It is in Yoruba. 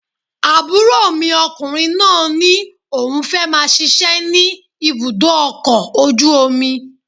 Àbúrò mi ọkùnrin náà ní òun fẹ́ máa ṣiṣẹ́ ní ibùdó ọkọ̀ ojú omi